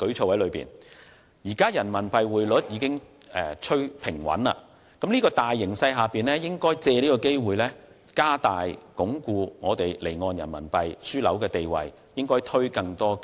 在現時人民幣匯率已趨平穩的形勢下，應把握機會推出更多積極措施，加大力度鞏固香港離岸人民幣樞紐的地位。